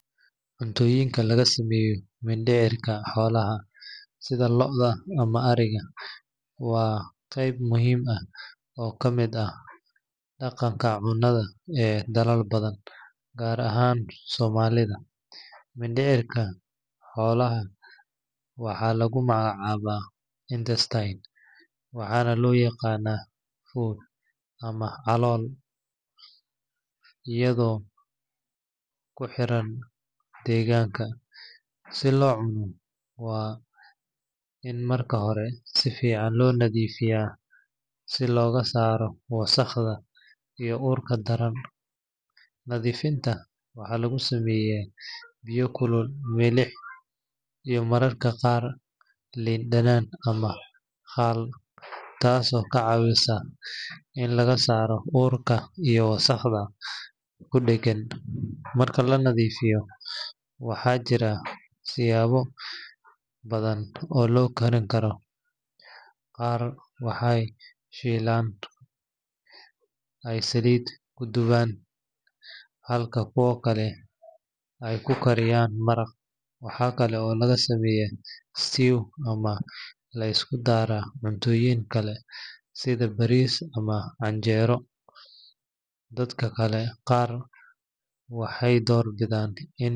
Cunooyinka laga sameeyo mindhicirka xoolaha, sida lo’da ama ariga, waa qayb muhiim ah oo ka mid ah dhaqanka cunnada ee dalal badan, gaar ahaan Soomaalida. Mindhicirka xoolaha waxaa lagu magacaabaa intestine waxaana loo yaqaannaa fuud ama calool iyadoo kuxiran deegaanka. Si loo cuno, waa in marka hore si fiican loo nadiifiyaa si looga saaro wasakhda iyo urta daran. Nadiifinta waxaa lagu sameeyaa biyo kulul, milix, iyo mararka qaar liin dhanaan ama khal, taasoo ka caawisa in laga saaro urka iyo wasakhda ku dheggan. Marka la nadiifiyo, waxaa jira siyaabo badan oo loo karin karo. Qaar waxay shiilaan oo ay saliid ku dubaan, halka kuwa kale ay ku kariyaan maraq. Waxaa kale oo laga sameeyaa stew ama la isku daraa cuntooyin kale sida bariis ama canjeero. Dadka qaar waxay door bidaan in.